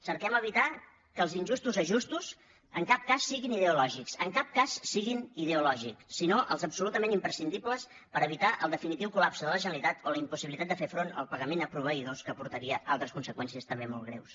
cerquem evitar que els injustos ajustos en cap cas siguin ideològics en cap cas siguin ideològics sinó els absolutament imprescindibles per evitar el definitiu col·front al pagament a proveïdors que portaria altres conseqüències també molt greus